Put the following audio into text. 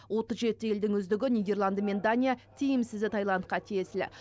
отыз жеті елдің үздігі нидерланды мен дания тиімсізі тайландқа тиесілі